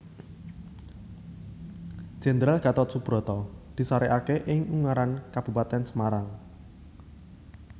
Jenderal Gatot Soebroto disarekake ing Ungaran Kabupatèn Semarang